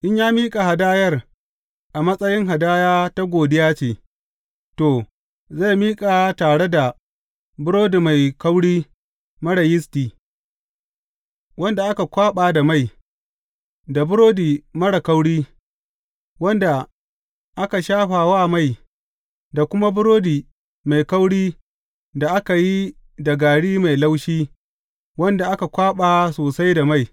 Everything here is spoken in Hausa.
In ya miƙa hadayar a matsayin hadaya ta godiya ce, to, zai miƙa ta tare da burodi mai kauri marar yisti, wanda aka kwaɓa da mai, da burodi marar kauri, wanda aka shafa wa mai, da kuma burodi mai kauri da aka yi da gari mai laushi wanda aka kwaɓa sosai da mai.